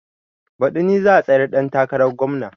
Baɗi ni za a tsayar ɗan takarar gomna